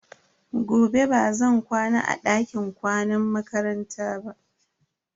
Gobe bazan kwana a dakin kwanan makaranta ba.